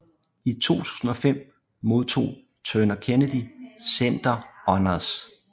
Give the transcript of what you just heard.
I 2005 modtog Turner Kennedy Center Honors